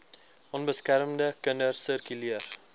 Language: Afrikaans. onbeskermde kinders sirkuleer